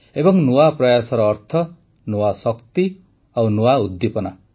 ଏବଂ ନୂଆ ପ୍ରୟାସର ଅର୍ଥ ନୂଆ ଶକ୍ତି ଓ ନୂଆ ଉଦ୍ଦୀପନା